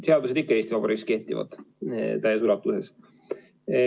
Seadused ikka Eesti Vabariigis kehtivad täies ulatuses.